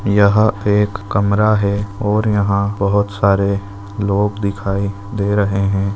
यह एक कमरा है और यहाँ बहुत सारे लोग दिखाई दे रहे है।